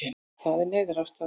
Það er neyðarástand